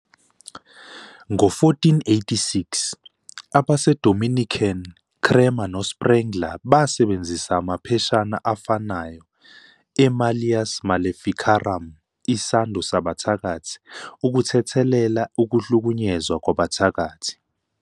"Ngo-1486, abaseDominican Kramer noSprengler basebenzisa amapheshana afanayo "eMalleus Maleficarum", "Isando Sabathakathi", ukuthethelela ukuhlukunyezwa "kwabathakathi".